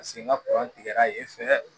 Paseke n ka tigɛra yen fɛ